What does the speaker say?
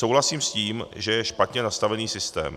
Souhlasím s tím, že je špatně nastavený systém.